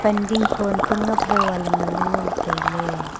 dingkho ang pe ngap dao a ngan ley ngo tailey.